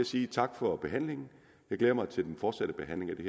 sige tak for behandlingen jeg glæder mig til den fortsatte behandling af det